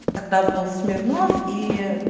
тогда был смирнов и